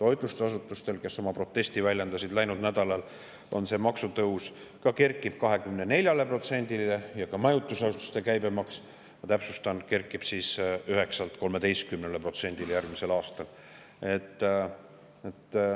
Toitlustusasutustel, kes oma protesti väljendasid läinud nädalal, kerkib see maks 24%‑le, ja majutusasutuste käibemaks, ma täpsustan, kerkib 9%‑lt 13%‑le järgmisel aastal.